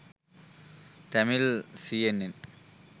tamil cnn